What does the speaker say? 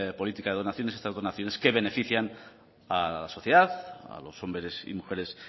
política de donaciones estas donaciones que benefician a la sociedad a los hombres y mujeres